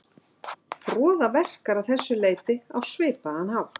Froða verkar að þessu leyti á svipaðan hátt.